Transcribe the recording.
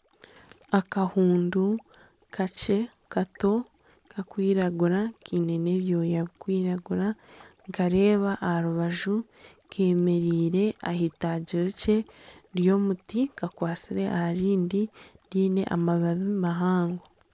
Akahundu kakye kato kakwiragura kiine n'ebyooya birikwiragura nikareeba aha rubaju kemereire ah'eitaagi rikye ry'omuti kakwatsire aha rindi ryine amabaabi mahango.